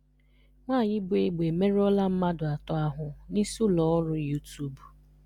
Nwanyị bụ egbe emerụọla mmadụ atọ ahụ n'isi ụlọ ọrụ YouTube